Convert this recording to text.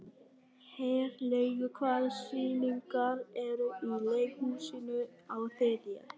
Herlaugur, hvaða sýningar eru í leikhúsinu á þriðjudaginn?